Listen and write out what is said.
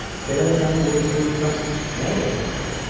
Belə də sənin gürultu rütbən nəyə dəyər?